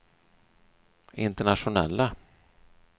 internationella